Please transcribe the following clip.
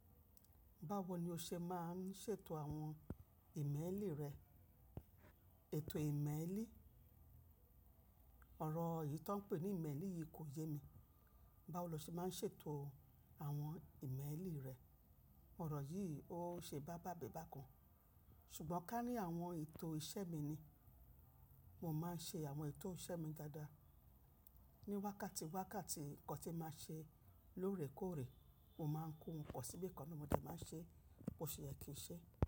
Báwo ni o ṣe máa ń ṣètò àwọn ìmélì rẹ? Ètò ìmélì, ọ̀rọ̀ yìí tó ń pè ní ìmélì yìí kò yé mi. Báwo lo ṣe máa ń ṣètò àwọn ìmélì rẹ? Ọ̀rọ̀ yìí ó ṣe bá-bá-bébà kan, ṣùgbọ́n ká ní àwọn ètò iṣẹ́ mi ni. Mo máa ń ṣe àwọn ètò iṣẹ́ mi dáadáa. Ni wákàtí wákàtí nǹkan tí màá ṣe lóòrèkóòrè, mo máa ń kó wọn pọ síbí kan na mo dẹ máa ń ṣe, bó ṣe yé kì nṣe.